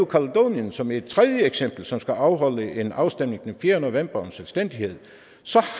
kaledonien som et tredje eksempel som skal afholde en afstemning den fjerde november om selvstændighed så